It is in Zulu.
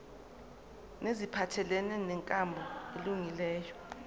neziphathelene nenkambo elungileyo